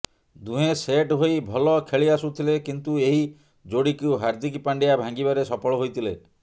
ଦୁହେଁ ସେଟ୍ ହୋଇ ଭଲ ଖେଳିଆସୁଥିଲେ କିନ୍ତୁ ଏହି ଯୋଡ଼ିକୁ ହାର୍ଦ୍ଦିକ ପାଣ୍ଡ୍ୟା ଭାଙ୍ଗିବାରେ ସଫଳ ହୋଇଥିଲେ